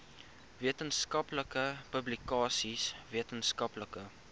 wetenskaplike publikasies wetenskaplike